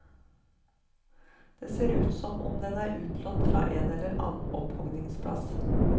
Den ser ut som om den er utlånt fra en eller annen opphuggingsplass.